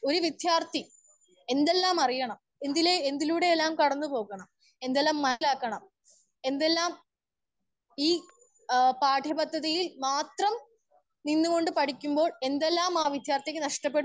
Speaker 1 ഒര്‌ വിദ്യാർത്ഥി എന്തെല്ലാം അറിയണം എന്തിലെ എന്തിലൂടെ എല്ലാ കിടന്ന് പോവും. എന്തെല്ലാം മജ ആക്കണം. എന്തെല്ലാം ഈ ആ പാഠയപദ്ധതിയിൽ മാത്രം നിന്ന് കൊണ്ട് പഠിക്കുമ്പോൾ എന്തെല്ലാം ആ വിദ്യാർത്ഥിക്ക് നഷ്ടപെടുന്നു